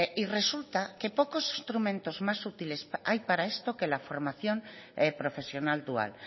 y resulta que pocos instrumentos más útiles hay para esto que la formación profesional dual